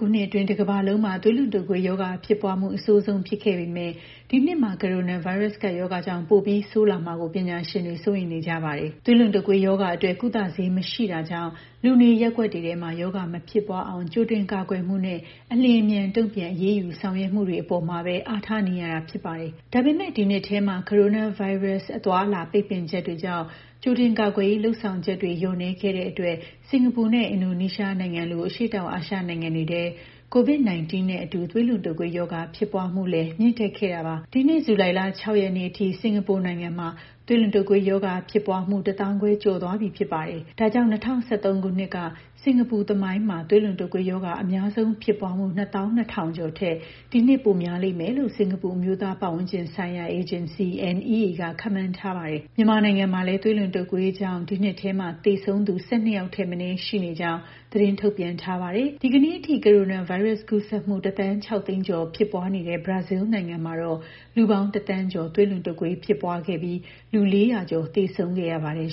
ခုနှစ်အတွင်း တကမ္ဘာလုံးမှာ သွေးလွန်တုပ်ကွေးရောဂါ ဖြစ်ပွားမှု အဆိုးဆုံး ဖြစ်ခဲ့ပေမယ့် ဒီနှစ်မှာ ကိုရိုနာဗိုင်းရပ်စ် ကပ်ရောဂါကြောင့် ပိုပြီးဆိုးလာမှာကို ပညာရှင်တွေ စိုးရိမ်နေကြပါတယ်။ သွေးလွန်တုပ်ကွေးရောဂါအတွက် ကုသဆေး မရှိတာကြောင့် လူနေရပ်ကွက်တွေထဲ ရောဂါမဖြစ်ပွားအောင် ကြိုတင်ကာကွယ်မှုနဲ့ အလျှင်အမြန် တုံ့ပြန်အရေးယူ ဆောင်ရွက်မှုတွေ အပေါ်မှာပဲ အားထားနေရတာ ဖြစ်ပါတယ်။ ဒါပေမယ့် ဒီနှစ်ထဲ ကိုရိုနာဗိုင်းရပ်စ် အသွားအလာ ပိတ်ပင်ချက်တွေကြောင့် ကြိုတင်ကာကွယ်ရေး လုပ်ဆောင်ချက်တွေ လျော့နည်းခဲ့တဲ့အတွက် စင်ကာပူနဲ့ အင်ဒိုနီးရှားနိုင်ငံလို အရှေ့တောင်အာရှ နိုင်ငံတွေထဲ COVID-19 နဲ့အတူ သွေးလွန်တုပ်ကွေးရောဂါ ဖြစ်ပွားမှုလည်း မြင့်တက်ခဲ့တာပါ။ ဒီနှစ် ဇူလိုင်လ ၆ ရက်နေ့အထိ စင်ကာပူနိုင်ငံမှာ သွေးလွန်တုပ်ကွေးရောဂါ ဖြစ်ပွားမှု တသောင်းခွဲကျော်သွားပြီ ဖြစ်ပါတယ်။ ဒါကြောင့် ၂၀၁၃ ခုနှစ်တုန်းက စင်ကာပူသမိုင်းမှာ သွေးလွန်တုပ်ကွေးရောဂါ အများဆုံးဖြစ်ပွားမှု ၂၂,၀၀၀ ကျော်ထက် ဒီနှစ် ပိုများလိမ့်မယ်လို့ စင်ကာပူ အမျိုးသားပတ်ဝန်းကျင်ဆိုင်ရာ အေဂျင်စီ (NEA) က ခန့်မှန်းထားပါတယ်။ မြန်မာနိုင်ငံမှာလည်း သွေးလွန်တုပ်ကွေးရောဂါကြောင့် ဒီနှစ်ထဲမှာ သေဆုံးသူ ၁၂ ယောက်ထက်မနည်း ရှိနေကြောင်း သတင်းထုတ်ပြန်ထားပါတယ်။ ဒီကနေ့အထိ ကိုရိုနာဗိုင်းရပ်စ် ကူးစက်မှု ၁,၆၀၀,၀၀၀ ကျော် ဖြစ်ပွားနေတဲ့ ဘရာဇီးနိုင်ငံမှာတော့ လူပေါင်း ၁,၀၀၀,၀၀၀ ကျော် သွေးလွန်တုပ်ကွေး ဖြစ်ပွားခဲ့ပြီး လူ ၄၀၀ ကျော် သေဆုံးခဲ့ရပါတယ်